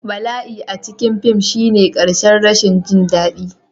Bala'i a cikin fim shine ƙarshen rashin jin daɗi